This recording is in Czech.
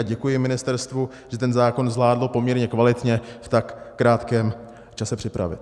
A děkuji ministerstvu, že ten zákon zvládlo poměrně kvalitně v tak krátkém čase připravit.